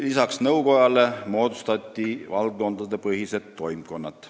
Samuti moodustati valdkondadepõhised toimkonnad.